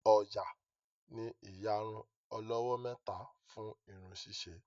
Oya ní iyàrun olówó méta fún irun ṣiṣe